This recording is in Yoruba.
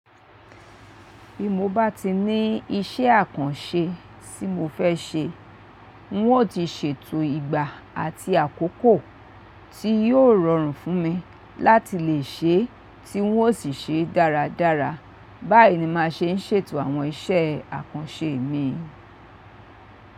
Bí mo bá ti ní iṣẹ́ àkànṣe tí mo fẹ́ ṣe, n o ti ṣètò ìgbà àti àkókò tí yóò rọrùn fún mi láti lè ṣe tí n ó sì ṣe dáradára. Báyìí ni màá ṣe ń ṣètò àwọn iṣẹ́ àkànṣe mi.